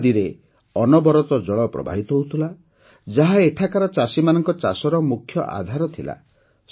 ଏହି ନଦୀରେ ଅନବରତ ଜଳ ପ୍ରବାହିତ ହେଉଥିଲା ଯାହା ଏଠାକାର ଚାଷୀମାନଙ୍କ ଚାଷର ମୁଖ୍ୟ ଆଧାର ଥିଲା